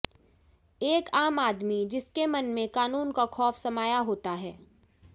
एक आम आदमी जिसके मन में कानून का खौफ समाया होता है